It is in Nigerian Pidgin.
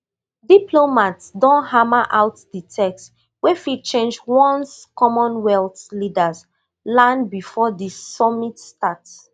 diplomats don hammer out di text wey fit change once commonwealth leaders land before di summit start